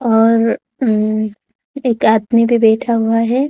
और अह एक आदमी भी बैठा हुआ है।